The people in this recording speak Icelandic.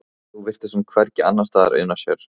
Nú virtist hún hvergi annarsstaðar una sér.